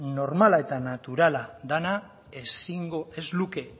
normal eta naturala dena ez luke